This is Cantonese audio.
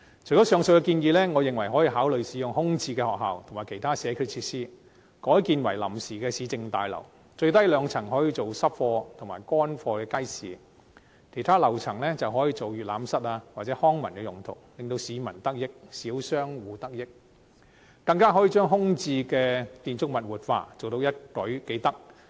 除了上述建議，我認為可以考慮使用空置學校及其他社區設施，改建為臨時市政大樓，最低兩層可以用作濕貨及乾貨街市，其他樓層可以作閱覽室或康文用途，不但令市民及小商戶得益，更可以活化空置的建築物，一舉數得。